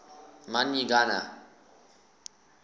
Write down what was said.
man y gana